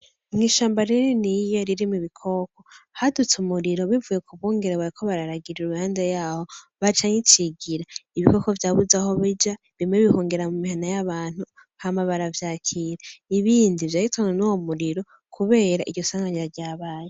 Mw'ishamba rininiya ririmwo ibikoko, hadutse umuriro bivuye ku bungere bariko bararagira iruhande yaho bacaho icigira, ibikoko vyarabuze aho bija bimwe bihungira mu mihana y'abantu hama baravyakira, ibindi vyahitanwe n'uwo muriro kubera iryo nsanganya ryabaye.